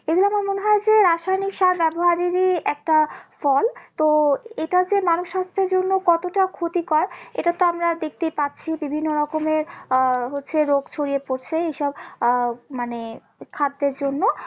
এটা রাসায়নিক সার ব্যবহারেরই একটা ফল তো এটা যে মানুষ স্বাস্থ্যের জন্য কতটা ক্ষতিকর এটাতো আমরা দেখতেই পাচ্ছি বিভিন্ন রকমের আহ হচ্ছে রোগ ছড়িয়ে পড়ছে এইসব আহ মানে খাদ্যের জন্য